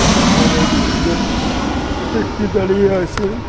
সামোনে দু তিনজন ব্যক্তি দাঁড়িয়ে আছে।